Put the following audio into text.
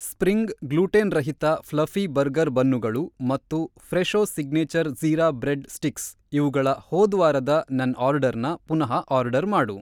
Spring ಗ್ಲೂಟೆನ್‌ರಹಿತ fluffy burger ಬನ್ನುಗಳು ಮತ್ತು Fresho signature jeera bread sticks ಇವುಗಳ ಹೋದ್ವಾರದ ನನ್‌ ಆರ್ಡರ್‌ನ ಪುನಃ ಆರ್ಡರ್‌ ಮಾಡು.